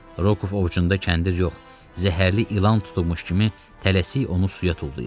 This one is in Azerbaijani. Rokov ovcunda kəndir yox, zəhərli ilan tutulmuş kimi tələsik onu suya tullayır.